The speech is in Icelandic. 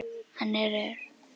Hann er reiður.